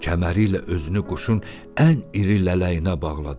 Kəməriylə özünü quşun ən iri lələyinə bağladı.